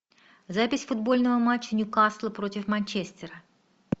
запись футбольного матча ньюкасла против манчестера